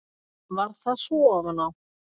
Varð það svo ofan á.